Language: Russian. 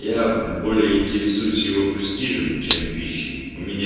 я более интересуюсь его престижем чем пищей у меня